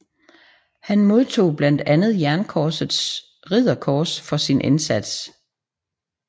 Han modtog blandt andet Jernkorsets Ridderkors for sin indsats